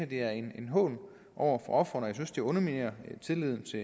det er en hån over for ofrene og jeg synes det underminerer tilliden til